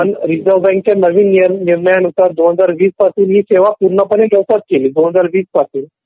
पण रिझर्व बँकेमध्ये नवीन निर्णयानुसार दोन हजार वीस पासून हि सेवा'पूर्ण पाने मोफत केली दोन हजार वीस पासून.